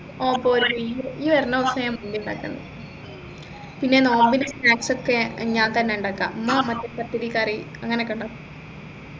ഓ പോര് ഈ ഈ വരുന്ന ദിവസം ഞാൻ മന്തി ഉണ്ടാകുന്നു പിന്നെ നോമ്പിന് snacks ഒക്കെ ഞാൻ തന്നെ ഉണ്ടാക്ക ഉമ്മ പത്തിരി കറി അങ്ങനെ ഒക്കെ ഉണ്ടാക്കും